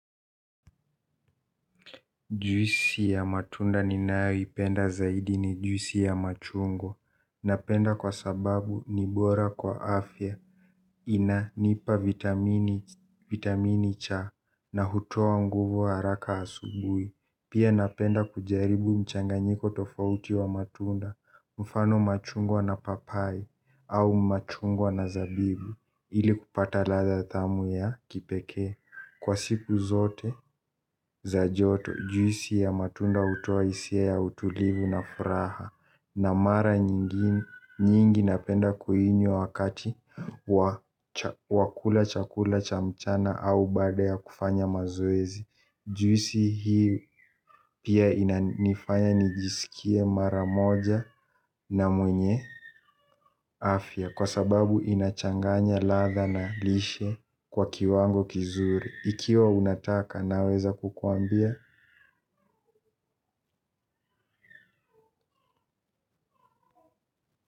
Juisi ya matunda ninaeyoipenda zaidi ni juisi ya machungwa. Napenda kwa sababu ni bora kwa afya. Inanipa vitamini cha na hutoa nguvu ya haraka asubuhi. Pia napenda kujaribu mchanganyiko tofauti wa matunda. Mfano machungwa na papai au machungwa na zabibu. Ili kupata ladha tamu ya kipekee. Kwa siku zote za joto juisi ya matunda hutoa hisia ya utulivu na furaha na mara nyingi napenda kuinywa wakati wa kula chakula cha mchana au baada ya kufanya mazoezi. Juisi hii pia inanifanya nijisikie mara moja na mwenye afya kwa sababu inachanganya ladha na lishe kwa kiwango kizuri. Ikiwa unataka naweza kukuambia.